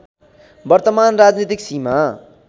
वर्तमान राजनीतिक सीमा